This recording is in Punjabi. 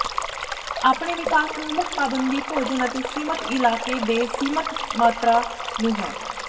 ਆਪਣੇ ਵਿਕਾਸ ਨੂੰ ਮੁੱਖ ਪਾਬੰਦੀ ਭੋਜਨ ਅਤੇ ਸੀਮਤ ਇਲਾਕੇ ਦੇ ਸੀਮਿਤ ਮਾਤਰਾ ਨੂੰ ਹੈ